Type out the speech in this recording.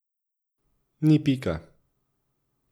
Ni pika.